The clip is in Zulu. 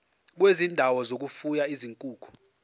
kwezindawo zokufuya izinkukhu